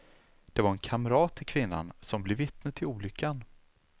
Det var en kamrat till kvinnan som blev vittne till olyckan.